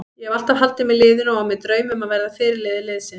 Ég hef alltaf haldið með liðinu og á mér drauma um að verða fyrirliði liðsins.